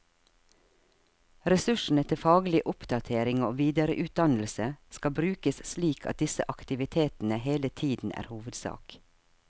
Ressursene til faglig oppdatering og videreutdannelse skal brukes slik at disse aktivitetene hele tiden er hovedsak.